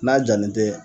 N'a jalen tɛ